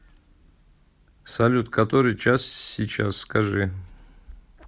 салют который час сейчас скажи